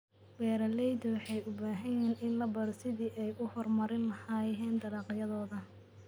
Beeralayda waxay u baahan yihiin in la baro sidii ay u horumarin lahaayeen dalagyadooda.